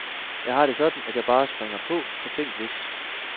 Jeg har det sådan, at jeg bare springer på, for tænk hvis